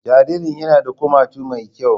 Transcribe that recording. Jaririn yana da kumatu mai kyau